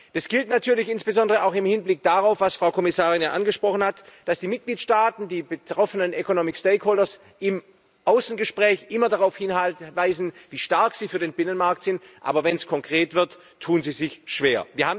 Das gilt natürlich insbesondere auch im Hinblick darauf, was Frau Kommissarin angesprochen hat, dass die Mitgliedstaaten, die betroffenen economic stakeholders im Außengespräch immer darauf hinweisen, wie stark sie für den Binnenmarkt sind, aber wenn es konkret wird, tun sie sich schwer.